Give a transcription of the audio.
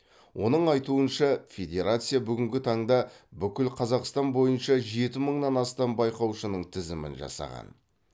оның айтуынша федерация бүгінгі таңда бүкіл қазақстан бойынша жеті мыңнан астам байқаушының тізімін жасаған